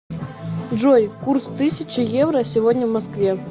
джой курс тысяча евро сегодня в москве